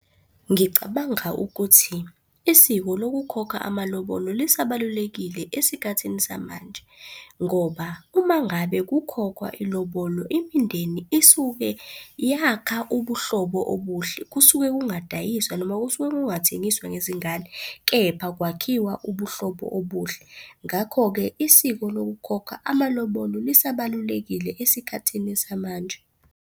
Ngicabanga ukuthi isiko lokukhokha amalobolo lisabalulakile esikhathini samanje, ngoba uma ngabe kukhokhwa ilobolo imindeni isuke yakha ubuhlobo obuhle, kusuke kungadayiswa noma kusuke kungathengiswa ngezingane, kepha kwakhiwa ubuhlobo obuhle. Ngakho-ke, isiko lokukhokha amalobolo lisabalulakile esikhathini samanje.